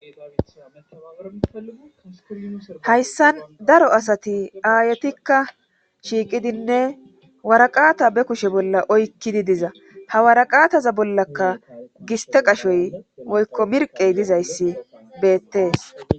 hayssan daro asati aayetikka shiiqidinne waraqaata be kushe bolla oykkidi diza ha waraqaataza bollaka giste qashoy woykko mirqey dizayssi beettees